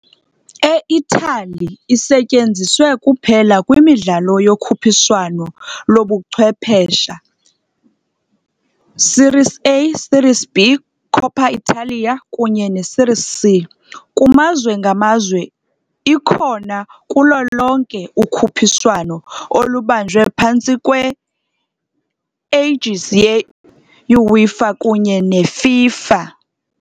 E-Italy isetyenziswe kuphela kwimidlalo yokhuphiswano lobuchwephesha, Series A, Series B, Coppa Italia, kunye neSeries C, kumazwe ngamazwe, ikhona kulo lonke ukhuphiswano olubanjwe phantsi kwe-aegis yeUEFA kunye neFIFA.